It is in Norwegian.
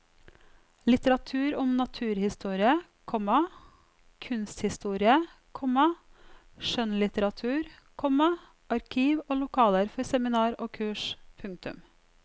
Litteratur om naturhistorie, komma kunsthistorie, komma skjønnlitteratur, komma arkiv og lokaler for seminar og kurs. punktum